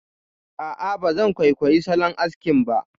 A'a, ba zan kwaikwayi salon askin ka ba